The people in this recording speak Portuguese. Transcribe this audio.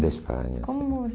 Da Espanha, sim. Como